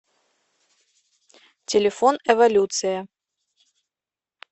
телефон эволюция